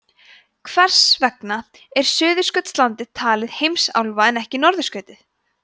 hvers vegna er suðurskautslandið talið heimsálfa en ekki norðurskautið